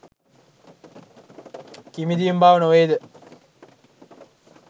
කිමිදීම බව නො වේ ද?